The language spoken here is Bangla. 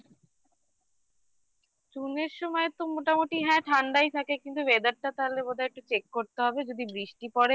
June -এর সময় তো মোটামুটি হ্যাঁ ঠাণ্ডায় থাকে কিন্তু weather টা তাহলে বোধহয় একটু check করতে হবে যদি বৃষ্টি পরে